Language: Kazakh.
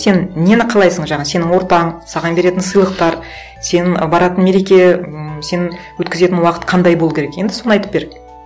сен нені қалайсың жаңа сенің ортаң саған беретін сыйлықтар сенің баратын мереке ммм сенің өткізетін уақыт қандай болу керек енді соны айтып бер